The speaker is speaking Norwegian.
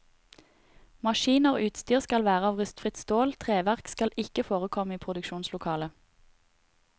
Maskiner og utstyr skal være av rustfritt stål, treverk skal ikke forekomme i produksjonslokalet.